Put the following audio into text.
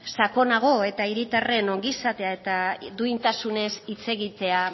sakonago eta herritarren ongizatea eta duintasunez hitz egitea